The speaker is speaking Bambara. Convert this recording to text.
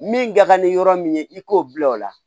Min ka kan ni yɔrɔ min ye i k'o bila o la